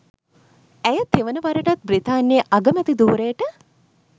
ඇය තෙවන වරටත් බ්‍රිතාන්‍යයේ අගමැති ධූරයට